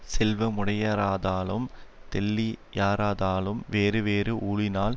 செல்வமுடையாராதாலும் தெள்ளியாராதலும் வேறு வேறு ஊழினால்